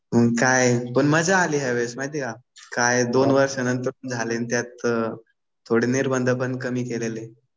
काय पण काय मजा आली ह्या वेळेस माहितीये का. काय दोन वर्षानंतर झाले आणि त्यात थोडे निर्बंध पण कमी केलेले.